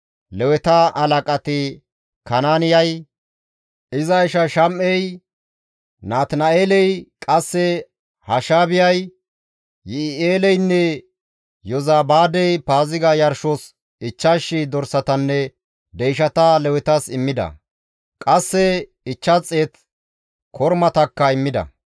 Leweta halaqati Kanaaniyay, iza isha Shama7ey, Natina7eeley, qasse Hashaabiyay, Yi7i7eeleynne Yozabaadey Paaziga yarshos 5,000 dorsatanne deyshata Lewetas immida; qasse 500 kormatakka immida.